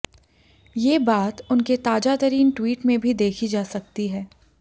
ये बात उनके ताजातरीन ट्वीट में भी देखी जा सकती है